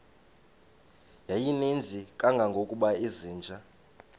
yayininzi kangangokuba izinja